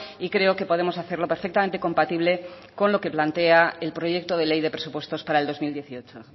y creo que podemos hacerlo perfectamente compatible con lo que plantea el proyecto de ley de presupuestos para el dos mil dieciocho